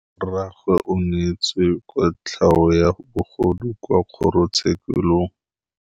Rragwe o neetswe kotlhaô ya bogodu kwa kgoro tshêkêlông.